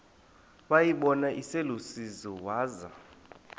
wayibona iselusizini waza